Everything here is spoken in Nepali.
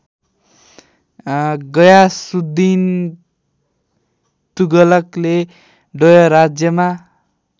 गयासुद्धिन तुगलकले डोयराज्यमा